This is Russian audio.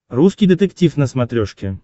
русский детектив на смотрешке